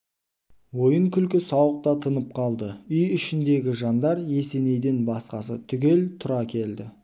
ойын-күлкі сауық та тынып қалды үй ішіндегі жандар есенейден басқасы түгел тұра келді